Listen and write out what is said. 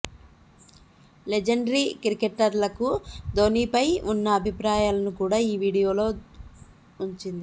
legendary క్రికెటర్లకు ధోనిపై ఉన్న అభిప్రాయాలను కూడా ఈ వీడియోలో ఉంచింది